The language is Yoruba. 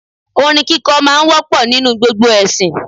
Orin kíkọ́ máa ń wọ́pọ̀ nínú gbogbo ẹ̀sìn